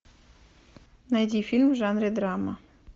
найди фильм в жанре драма